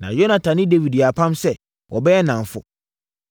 Na Yonatan ne Dawid yɛɛ apam sɛ, wɔbɛyɛ nnamfo.